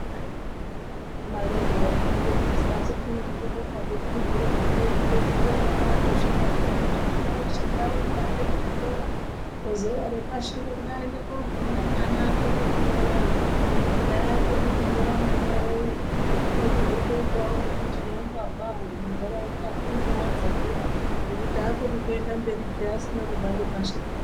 Imare zvaya ingandonesa asi tinobonga hedu hurumende yakabazviti mwana weshe ngarumbe aende kuzvikora vezera repashi havaende kunofunda mwana akone kunyora akone kunyora mwana uwowo unochizotoitawo neumbavhawo mundaraunda hunege hwadzakira nekuti akoni kuenda mberi peyani asina kubva ngepashi.